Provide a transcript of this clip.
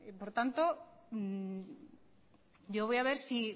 por lo tanto yo voy a ver si